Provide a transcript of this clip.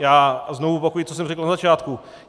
Já znovu opakuji, co jsem řekl na začátku.